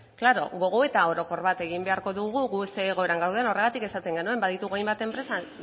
claro gogoeta orokor bat egin beharko dugu gu zein egoera gauden horregatik esaten genuen baditugu hainbat enpresa